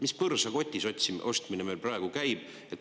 Mis põrsa kotis ostmine meil praegu käib?